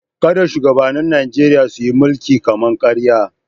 Kada shugabannin Nijeriya su yi mulkin kama-karya.